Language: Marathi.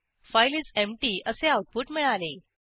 फाइल इस एम्प्टी असे आऊटपुट मिळाले